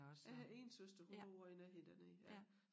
Øh 1 søster hun bor også i nærheden dernede ja